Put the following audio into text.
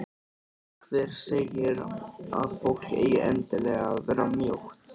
Hver segir að fólk eigi endilega að vera mjótt?